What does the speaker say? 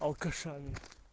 алкашами